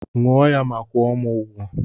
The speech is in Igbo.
Ṅụọ ya ma kwuo m ụgwọ